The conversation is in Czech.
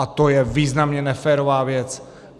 A to je významně neférová věc.